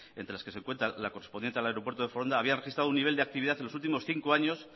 entre las que se encuentra la correspondiente al aeropuerto de foronda habían registrado un nivel de actividad en los últimos cinco años